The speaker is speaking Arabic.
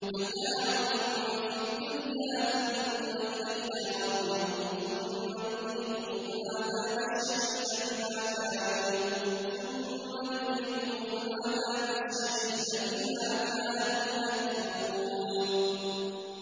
مَتَاعٌ فِي الدُّنْيَا ثُمَّ إِلَيْنَا مَرْجِعُهُمْ ثُمَّ نُذِيقُهُمُ الْعَذَابَ الشَّدِيدَ بِمَا كَانُوا يَكْفُرُونَ